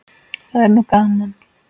Það var nú gaman.